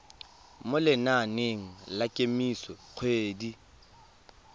mo lenaneng la kemiso dikgwedi